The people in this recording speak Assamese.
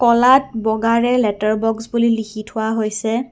ক'লাত বগাৰে লেটাৰ বক্স বুলি লিখি থোৱা হৈছে।